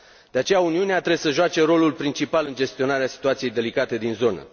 De aceea, Uniunea trebuie să joace rolul principal în gestionarea situației delicate din zonă.